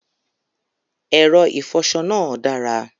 Ẹrọ ifọṣọ naa dára.